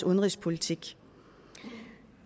udenrigspolitik